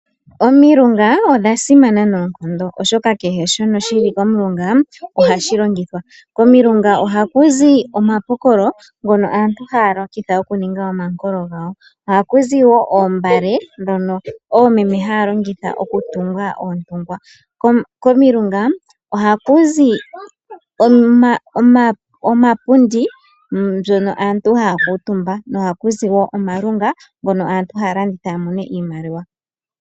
Omilunga odha simana nonkondo oshoka kehe shono shili kolunga ohashi longithwa, komilunga ohakuzi omapokolo ngono aantu haya longitha okuninga omankolo ngawo, oha ku zi wo oombale dhono omeme haya longitha oku tunga ontungwa, komilunga oha ku zi omapundi mbyono aantu hakutumba ohakuzi wo omalunga ngono aantu halanditha yamone iimaliwa.